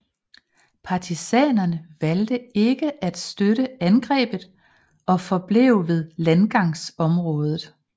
Partisanerne valgte ikke at støtte angrebet og forblev ved landgangsområdet